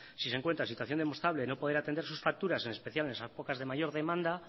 si se encuentra en situación demostrable de no poder atender sus facturas en especial en épocas de mayor demanda